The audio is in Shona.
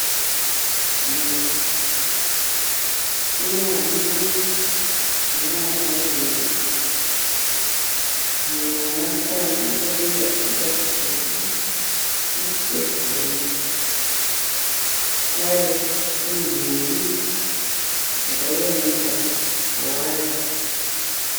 Mhuri, ina amai nevana vaviri. Mumwe mwanasikana akapfeka chikipa chitsvuku ne siketi tema. Zvakare pane nhumbi dzakayanikwa pawaya.